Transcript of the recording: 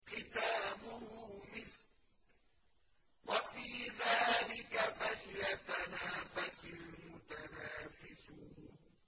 خِتَامُهُ مِسْكٌ ۚ وَفِي ذَٰلِكَ فَلْيَتَنَافَسِ الْمُتَنَافِسُونَ